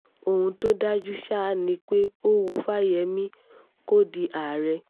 ohun tó dájú ṣáá ni pé ó wu fáyẹ́mì kó di àárẹ̀